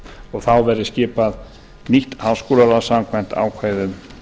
og þá verði skipað nýtt háskólaráð samkvæmt ákvæðum